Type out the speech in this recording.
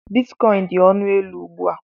Bitkọịn dị ọnụ élú ugbu a.